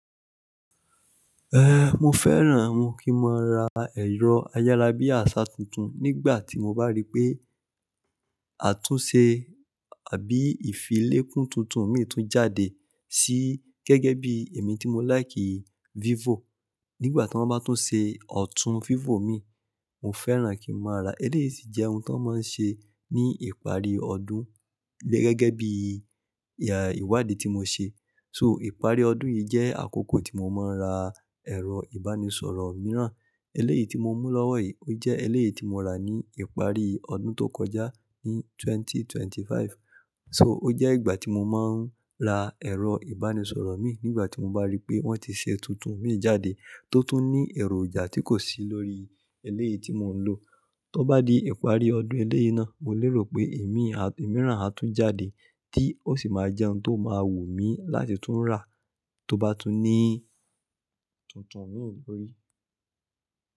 Eh, mo fẹ́ràn mo kí máa ra ẹ̀rọ ayárabíàṣá tuntun nígbà tí mo bá rí pé àtúnṣe àbí ìfilé kun tuntun mi tún jáde sí gẹ́gẹ́ bí èmi tí mo láìkì Vivo. Nígbà tí wọ́n bá tún ṣe ọ̀tún Vivo mi, mo fẹ́ràn kí n máa ra. Eléyìí sì jẹ́ ohun tan máa ń ṣe ní ìparí ọdún gẹ́gẹ́ bí ìwádìí tí mo ṣe. So ìparí ọdún yìí jẹ́ àkókò tí mo máa ń ra ẹ̀rọ ìbánisọ̀rọ̀ mìíràn. Eléyìí tí mo mú lọ́wọ́ yìí, ó jẹ́ eléyìí tí mo rà ní ìparí ọdún tó kọjá ní 2025. So ó jẹ́ ìgbà tí mo máa ń ra ẹ̀rọ ìbánisọ̀rọ̀ mii nígbà tí mo bá rí pé wọ́n ti ṣe tuntun mi jáde tó tún ní èròjà tí kò sí lórí eléyìí tí mò ń lò. Tọ bá di ìparí ọdún eléyìí náà, mo lérò pé èmi, ẹ̀mí ìràn á tún jáde tí ó sì máa jẹ́ ohun tó máa wù mí láti tún rà tó bá tún ní tuntun mi lórí.